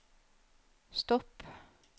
stopp